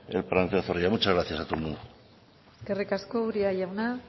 el parlamentario zorrilla muchas gracias a todo el mundo eskerrik asko uria jauna